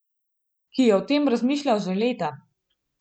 Ki je o tem razmišljal že leta.